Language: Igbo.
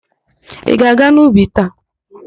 Ị ga-aga n'ubi taa?